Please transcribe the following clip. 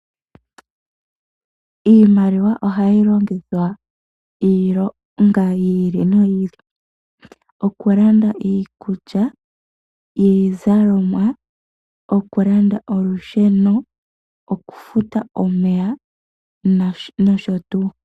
Iimaliwa ohayi longithwa iilonga yi ili noyi ili, okulanda iikulya ,iizalomwa, okulanda olusheno, okufuta omeya nosho tuu.